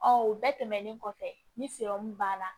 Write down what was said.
o bɛɛ tɛmɛnen kɔfɛ ni banna